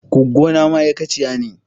Goggona ma'aikaciya ce.